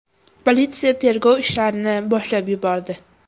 Politsiya tergov ishlarini boshlab yubordi.